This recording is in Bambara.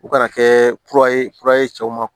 U kana kɛ kura ye kura ye cɛw ma